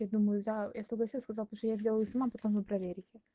я думаю зря я согласилась сказала потому что я сделаю сама потом вы проверите